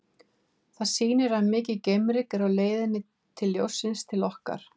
Það sýnir að mikið geimryk er á leið ljóssins til okkar.